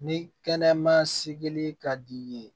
Ni kɛnɛma sigili ka di i ye